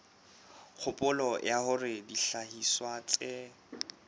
kgopolo ya hore dihlahiswa tse